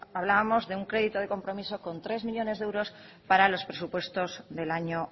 hablábamos de un crédito de compromiso con tres millónes de euros para los presupuestos del año